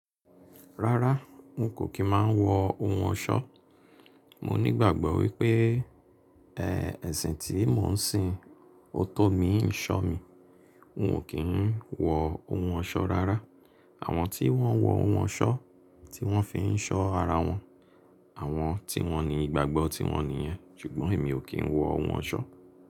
Rárá n kò kí máa ń wọ ohun ọ̀ṣọ́. Mo ní ìgbàgbọ́ wípé, ẹ́, ẹ̀sìn tí mò ń sin, òótọ́ mi ń ṣọ́ mi. N kò kí ń wọ ohun ọ̀ṣọ́ rárá. Àwọn tí wọ́n wọ ohun ọ̀ṣọ́, tí wọ́n fi ń ṣọ́ ara wọn, àwọn tí wọ́n ní ìgbàgbọ́ tí wọ́n nìyẹn. Sugbọ́n èmi ò kí ń wọ ohun ọ̀ṣọ́